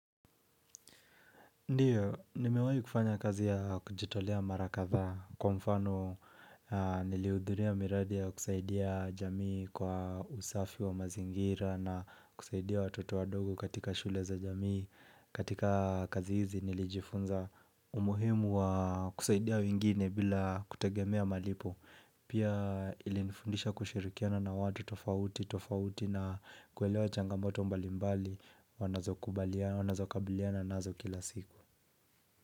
Ndiyo, nimewahi kufanya kazi ya kujitolea mara kadhaa kwa mfano nilihudhuria miradi ya kusaidia jamii kwa usafi wa mazingira na kusaidia watoto wadogo katika shule za jamii, katika kazi hizi nilijifunza umuhimu wa kusaidia wengine bila kutegemea malipo. Pia ilinifundisha kushirikiana na watu tofauti, tofauti na kuelewa changamoto mbalimbali Wanazokabaliana, nazo kila siku.